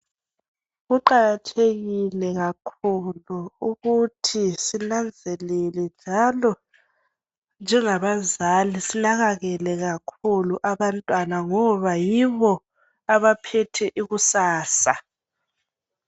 Kuqakathekile kakhulu ukuthi sinanzelele njalo njebazali sinakekele kakhulu abantwana ngoba yibo abaphethe ikusasa.